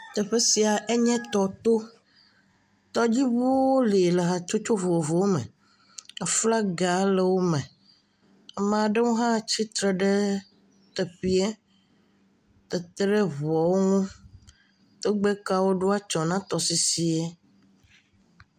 Teƒe sia enye tɔto tɔdziʋuwo le le hatsotso vovovowo me aflaga le wo me, amaɖo wo hã tsitre ɖe teƒiɛ etere eʋuɔ wo ŋu, tɔgbekawo wo ɖo atsɔ̃ na tɔsisiɛ.